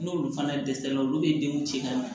N'olu fana dɛsɛra olu bɛ denw ci ka ɲɛ